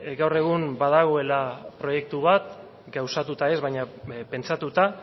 gaur egun badagoela proiektu bat gauzatuta ez baina pentsatuta